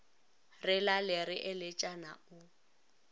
re lale re eletšana o